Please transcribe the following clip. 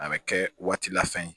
A bɛ kɛ waati la fɛn ye